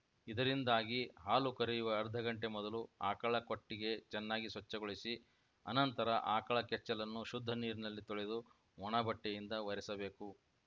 ಇದರಿಂದಾಗಿ ಹಾಲು ಕರೆಯುವ ಅರ್ಧ ಗಂಟೆ ಮೊದಲು ಆಕಳ ಕೊಟ್ಟಿಗೆ ಚೆನ್ನಾಗಿ ಸ್ವಚ್ಛಗೊಳಿಸಿ ಅನಂತರ ಆಕಳ ಕೆಚ್ಚಲನ್ನು ಶುದ್ಧ ನೀರಿನಲ್ಲಿ ತೊಳೆದು ಒಣ ಬಟ್ಟೆಯಿಂದ ಒರೆಸಬೇಕು